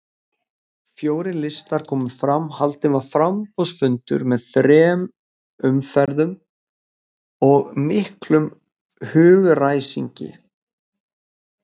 Fjórir listar komu fram, haldinn var framboðsfundur með þrem umferðum og miklum hugaræsingi.